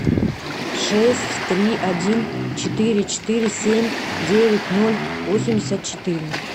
шесть три один четыре четыре семь девять ноль восемьдесят четыре